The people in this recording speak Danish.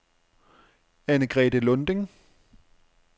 Annegrethe Lunding